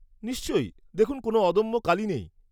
-নিশ্চয়ই, দেখুন, কোনও অদম্য কালি নেই।